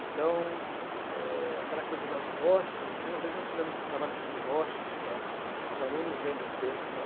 Então, eh, aquela coisa das rochas, né, uma vez nós fizemos um trabalho sobre rochas, e tal, os alunos lendo textos lá.